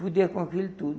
com aquilo tudo.